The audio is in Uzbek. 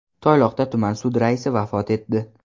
Toyloqda tuman sud raisi vafot etdi.